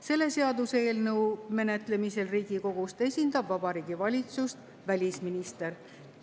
Selle seaduseelnõu menetlemisel Riigikogus esindab Vabariigi Valitsust välisminister.